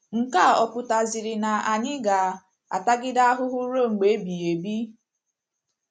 Nke a ọ̀ pụtaziri na anyị ga - atagide ahụhụ ruo mgbe ebighị ebi?